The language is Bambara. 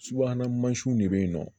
Subahana mansinw de bɛ yen nɔ